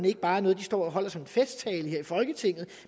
ikke bare er noget de står og holder som festtaler her i folketinget